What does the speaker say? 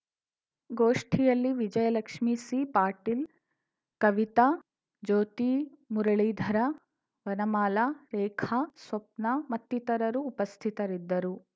ಗೋಷ್ಠಿಯಲ್ಲಿ ವಿಜಯಲಕ್ಷ್ಮೀ ಸಿ ಪಾಟೀಲ್‌ ಕವಿತಾ ಜ್ಯೋತಿ ಮುರಳೀಧರ ವನಮಾಲಾ ರೇಖಾ ಸ್ವಪ್ನ ಮತ್ತಿತರರು ಉಪಸ್ಥಿತರಿದ್ದರು